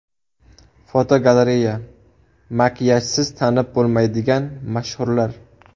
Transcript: Fotogalereya: Makiyajsiz tanib bo‘lmaydigan mashhurlar.